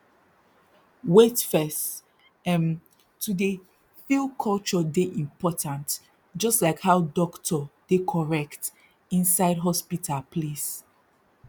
wait first erm to dey feel culture dey important jus like how dokto dey correct inside hospital place